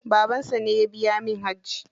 Babansa ne ya biya min hajji.